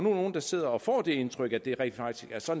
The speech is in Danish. er nogen der sidder og får det indtryk at det rent faktisk